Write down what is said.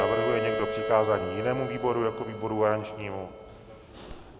Navrhuje někdo přikázání jinému výboru jako výboru garančnímu?